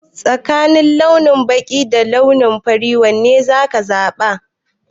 Tsakanin launi baƙi da fari wane za ka zaɓa?